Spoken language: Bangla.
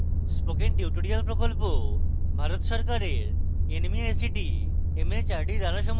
spoken tutorial project ভারত সরকারের nmeictmhrd দ্বারা সমর্থিত